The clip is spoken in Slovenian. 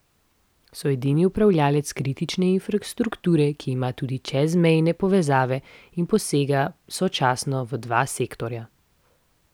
So edini upravljavec kritične infrastrukture, ki ima tudi čezmejne povezave in posega sočasno v dva sektorja.